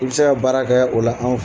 I bɛ se ka baara kɛ o la an fɛ.